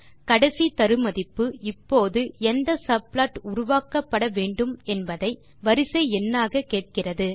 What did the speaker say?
கடைசி தரு மதிப்பு இப்போது எந்த சப்ளாட் உருவாக்கப்பட வேண்டும் என்பதை வரிசை எண்ணாக கேட்கிறது